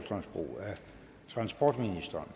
transportministeren